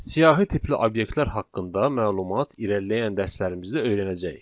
Siyahı tipli obyektlər haqqında məlumat irəliləyən dərslərimizdə öyrənəcəyik.